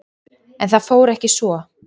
En það fór ekki svo.